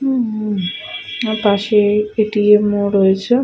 উম্মম হুম আর পাশে-এ এ.টি.এম. -ও রয়েছে।